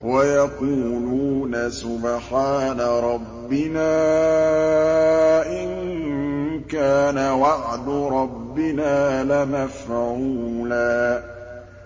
وَيَقُولُونَ سُبْحَانَ رَبِّنَا إِن كَانَ وَعْدُ رَبِّنَا لَمَفْعُولًا